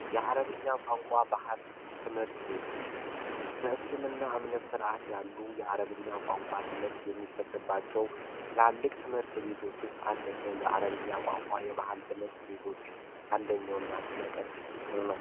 የአረብኛ ቋንቋ ባህል ትምህርት ቤቶች በእስልምና እምነት ስርዓት ያሉ የአረብኛ ቋንቋ ትምህርት የሚሰጠባቸው ትምህርት ቤቶች ውስጥ አንደኛው የአረብኛ ቋንቋ የባህል ትምህርት ቤቶች አንደኛውና ስም ቀን ነው